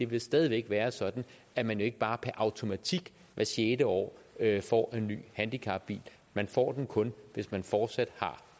vil stadig væk være sådan at man jo ikke bare per automatik hvert sjette år får en ny handicapbil man får den kun hvis man fortsat har